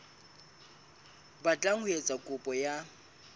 batlang ho etsa kopo ya